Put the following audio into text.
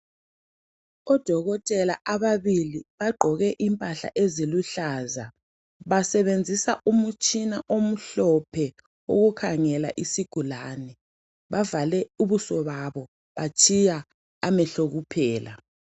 Odokotela ababili bagqoke impahla eziluhlaza, basebenzisa umutshina omhlophe ukukhangela isigulane. Bavale ubuso babo batshiya amehlo kuphela.